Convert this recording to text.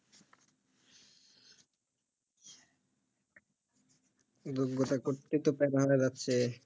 যোগ্যতা করেই তো লাগছে